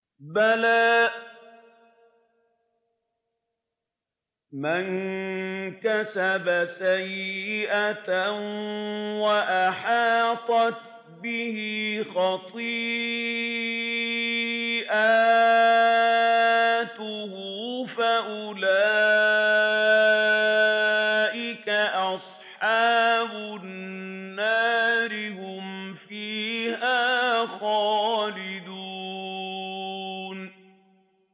بَلَىٰ مَن كَسَبَ سَيِّئَةً وَأَحَاطَتْ بِهِ خَطِيئَتُهُ فَأُولَٰئِكَ أَصْحَابُ النَّارِ ۖ هُمْ فِيهَا خَالِدُونَ